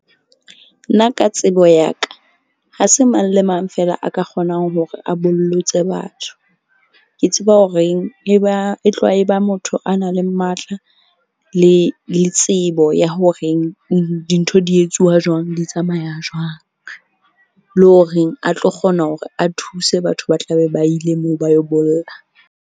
Nna ka tsebo ya ka, ha se mang le mang fela a ka kgonang hore a bollotse batho. Ke tseba horeng e ba e tloha e ba motho a nang le matla le tsebo ya horeng dintho di etsuwa jwang, di tsamaya jwang. Le horeng a tlo kgona hore a thuse batho ba tla be ba ile moo ba yo bolla.